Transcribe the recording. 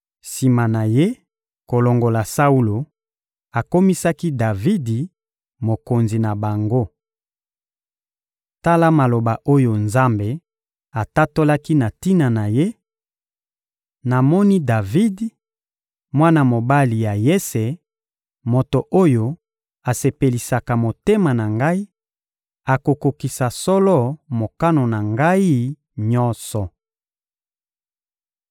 Sima na Ye kolongola Saulo, akomisaki Davidi mokonzi na bango. Tala maloba oyo Nzambe atatolaki na tina na ye: «Namoni Davidi, mwana mobali ya Yese, moto oyo asepelisaka motema na ngai; akokokisa solo mokano na ngai nyonso.»